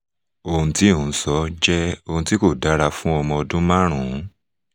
ohun tí ò ń sọ jẹ́ ohun tí kò dára fún ọmọ ọdún márùn-ún